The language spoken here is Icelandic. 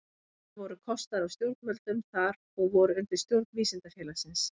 Ferðirnar voru kostaðar af stjórnvöldum þar og voru undir umsjón Vísindafélagsins.